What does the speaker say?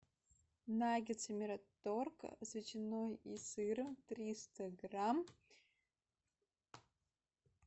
наггетсы мираторг с ветчиной и сыром триста грамм